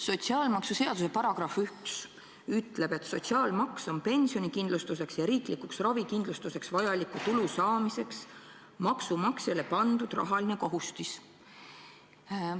Sotsiaalmaksuseaduse § 1 ütleb, et sotsiaalmaks on pensionikindlustuseks ja riiklikuks ravikindlustuseks vajaliku tulu saamiseks maksumaksjale pandud rahaline kohustis.